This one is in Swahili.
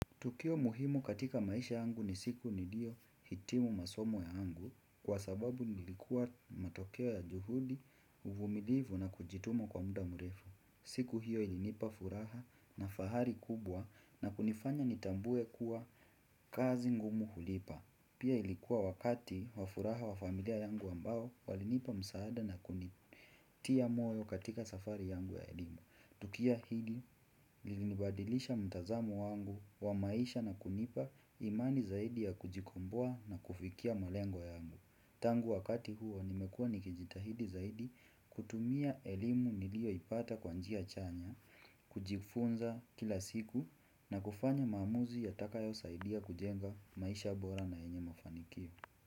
Tukio muhimu katika maisha yangu ni siku niliohitimu masomo ya yangu kwa sababu ilikuwa matokeo ya juhudi uvumilivu na kujituma kwa muda mrefu. Siku hiyo ilinipa furaha na fahari kubwa na kunifanya nitambue kuwa kazi ngumu hulipa. Pia ilikuwa wakati wa furaha wa familia yangu ambao walinipa msaada na kunitia moyo katika safari yangu ya elimu. Tukio hili lilinibadilisha mtazamo wangu wa maisha na kunipa imani zaidi ya kujikomboa na kufikia malengo yangu. Tangu wakati huo nimekua nikijitahidi zaidi kutumia elimu nilioipata kwa njia chanya. Kujifunza kila siku na kufanya maamuzi yatakayosaidia kujenga maisha bora na yenye mafanikio.